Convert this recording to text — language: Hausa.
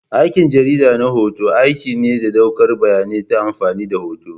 Aikin jarida na hoto aiki ne na ɗaukar bayanai ta amfani da hotuna.